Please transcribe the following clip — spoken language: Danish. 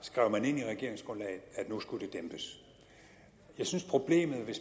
skrev man ind i regeringsgrundlaget at det nu skulle dæmpes jeg synes at problemet ved